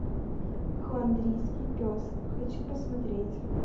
фландрийский пес хочу посмотреть